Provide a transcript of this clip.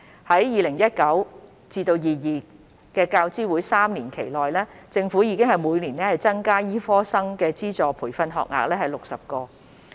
在 2019-2022 教資會3年期內，政府已每年增加60個醫科生的資助培訓學額。